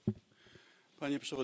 Panie Przewodniczący!